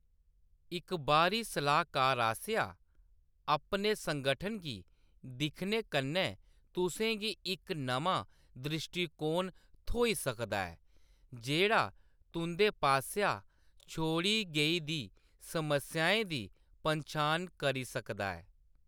इक बाह्‌री सलाह्‌‌‌कार आसेआ अपने संगठन गी दिक्खने कन्नै तुसें गी इक नमां द्रिश्टीकोण थ्होई सकदा ऐ जेह्‌‌ड़ा तुंʼदे पासेआ छोड़ी गेई दी समस्याएं दी पन्छान करी सकदा ऐ।